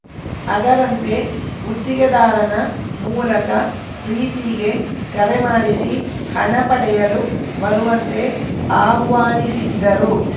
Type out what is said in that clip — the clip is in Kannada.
ಅದರಂತೆ ಗುತ್ತಿಗೆದಾರನ ಮೂಲಕ ಪ್ರೀತಿಗೆ ಕರೆ ಮಾಡಿಸಿ ಹಣ ಪಡೆಯಲು ಬರುವಂತೆ ಆಹ್ವಾನಿಸಿದ್ದರು